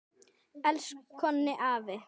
Elsku Konni afi.